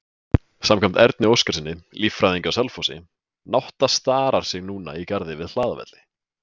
Samkvæmt Erni Óskarssyni, líffræðingi á Selfossi, nátta starar sig núna í garði við Hlaðavelli.